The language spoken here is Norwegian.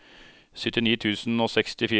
syttini tusen og sekstifire